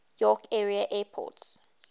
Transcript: york area airports